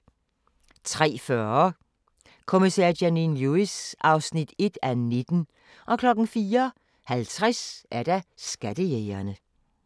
03:40: Kommissær Janine Lewis (1:19) 04:50: Skattejægerne